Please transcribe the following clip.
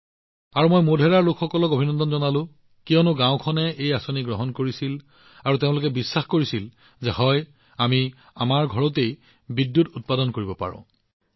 আৰু মই মোধেৰাৰ লোকসকলক অভিনন্দন জনাইছো কাৰণ গাওঁখনে এই আঁচনি গ্ৰহণ কৰিছিল আৰু তেওঁলোকে নিশ্চিত হৈছিল যে হয় আমি আমাৰ ঘৰত বিদ্যুৎ নিৰ্মাণ কৰিব পাৰোঁ